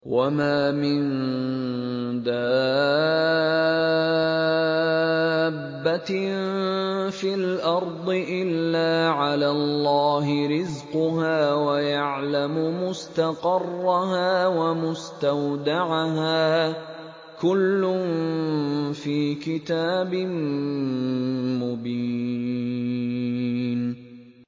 ۞ وَمَا مِن دَابَّةٍ فِي الْأَرْضِ إِلَّا عَلَى اللَّهِ رِزْقُهَا وَيَعْلَمُ مُسْتَقَرَّهَا وَمُسْتَوْدَعَهَا ۚ كُلٌّ فِي كِتَابٍ مُّبِينٍ